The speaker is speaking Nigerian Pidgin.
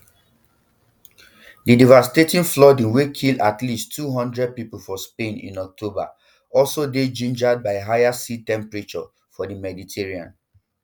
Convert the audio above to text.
di devastating flooding wey kill at least two hundred pipo for spain in october also dey gingered by higher sea temperatures for di mediterranean